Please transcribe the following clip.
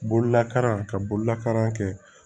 Bololakalan ka bolola kɛ